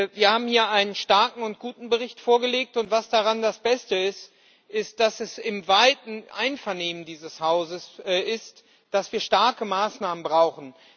Wir haben hier einen starken und guten Bericht vorgelegt, und das Beste daran ist, dass es im weiten Einvernehmen dieses Hauses ist, dass wir starke Maßnahmen brauchen.